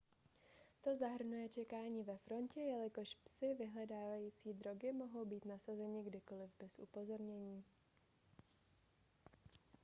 to zahrnuje čekání ve frontě jelikož psi vyhledávající drogy mohou být nasazeni kdykoliv bez upozornění